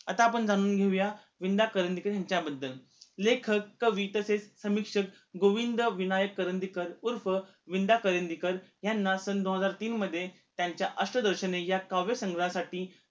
आत्ता आपण जाणून घेऊया विं. दा. करंदीकर ह्यांच्याबद्दल लेखक, कवी तसेच समीक्षक गोविंद विनायक करंदीकर ऊर्फ वि. दा. करंदीकर ह्यांना सन दोन हजार तीन मध्ये त्यांच्या अष्टदोषनि या काव्यसंग्रहासाठी